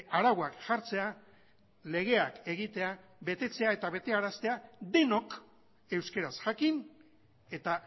arauak jartzea legeak egitea betetzea eta betearaztea denok euskaraz jakin eta